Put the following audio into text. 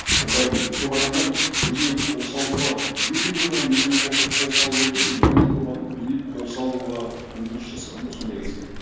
ол былай дейді көп адамдар өзіне қол салуға өте көп адам өзіне қол салып өлген и өте көп адам өзіне қол салуға ұмтылыс жасаған ғой сондай кезде